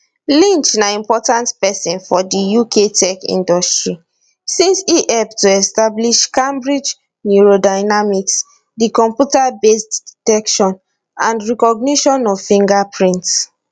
lynch na important pesin for di uk tech industry since e help to establish cambridge neurodynamics di computerbased detection and recognition of fingerprints